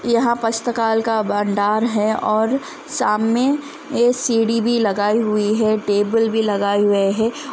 यह पुस्तकालय का दुकान है और सामने में सीढ़ी लगाई हुई है।